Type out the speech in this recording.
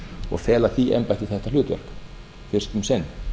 og fela því embætti þetta hlutverk fyrst um sinn